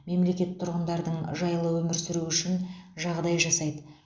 мемлекет тұрғындардың жаилы өмір сүруі үшін жағдаи жасаиды